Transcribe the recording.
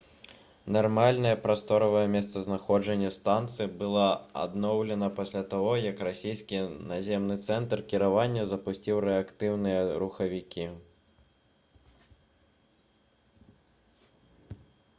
нармальнае прасторавае месцазнаходжанне станцыі было адноўлена пасля таго як расійскі наземны цэнтр кіравання запусціў рэактыўныя рухавікі